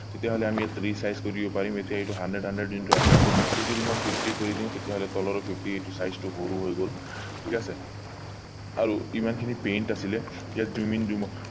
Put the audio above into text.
তেতিয়া হলে আমি ইয়াক resize কৰিব পাৰিম এতিয়া এইটো hundred hundred যোনটো আছে ইয়াক যদি মই fifty কৰি দিও তেতিয়া হলে তলৰ এই fifty size টো সৰু হৈ গল ঠিক আছে আৰু ইমান খিনি paint আছিলে ইয়াক zoom in zoom out